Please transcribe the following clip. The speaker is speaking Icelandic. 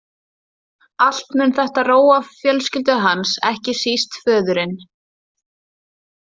Allt mun þetta róa fjölskyldu hans, ekki síst föðurinn.